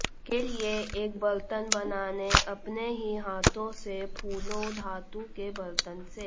के लिए एक बर्तन बनाने अपने ही हाथों से फूलों धातु के बर्तन से